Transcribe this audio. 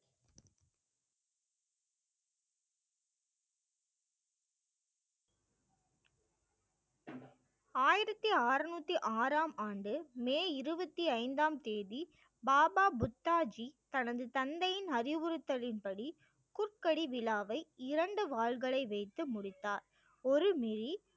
ஆயிரத்தி ஆறுநூற்றி ஆறாம் ஆண்டு மே இருபத்தி ஐந்தாம் தேதி பாபா புத்தா ஜீ தனது தந்தையின் அறிவுறுத்தலின்படி குக்கடி விழாவை இரண்டு வாள்களை வைத்து முடித்தார் ஒரு